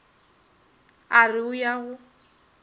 a re o ya go